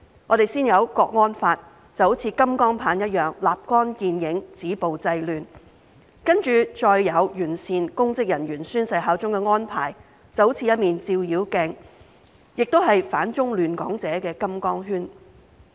我們先有《香港國安法》，像金剛棒般立竿見影，止暴制亂，接着再有完善公職人員宣誓效忠的安排，就像一面照妖鏡，也是反中亂港者的金剛圈。